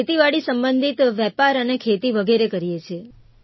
ખેતીવાડી સંબંધિત વેપાર અને ખેતી વગેરે કરીએ છીએ